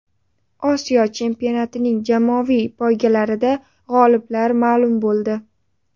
Osiyo chempionatining jamoaviy poygalarida g‘oliblar ma’lum bo‘ldi.